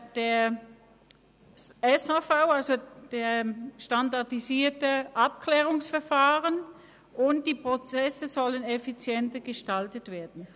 Ziel ist weiter das SAV, und die Prozesse sollen effizienter gestaltet werden.